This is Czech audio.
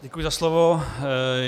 Děkuji za slovo.